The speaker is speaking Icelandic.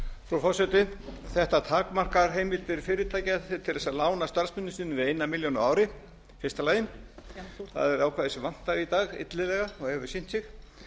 frú forseti þetta takmarkar heimildir fyrirtækja til þess að lána starfsmönnum sínum eina milljón á ári í fyrsta lagi það er ákvæði sem vantar í dag illilega og hefur sýnt